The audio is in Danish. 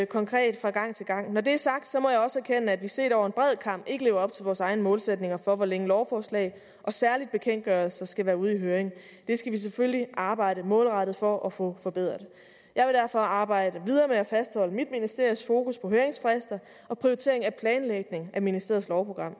konkret fra gang til gang når det er sagt må jeg også erkende at vi set over en bred kam ikke lever op til vores egne målsætninger for hvor længe lovforslag og særlig bekendtgørelser skal være ude i høring det skal vi selvfølgelig arbejde målrettet for at få forbedret jeg vil derfor arbejde videre med at fastholde mit ministeries fokus på høringsfrister og prioritering af planlægning af ministeriets lovprogram og